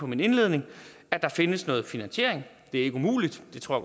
min indledning at der findes noget finansiering det er ikke umuligt